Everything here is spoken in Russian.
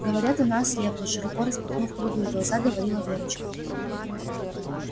говорят она ослепла широко распахнув круглые глаза говорила верочка